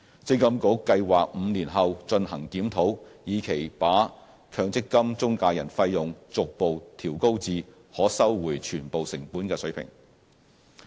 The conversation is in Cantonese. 積金局計劃在5年後進行檢討，以期把強積金中介人費用逐步調高至可收回全部成本的水平。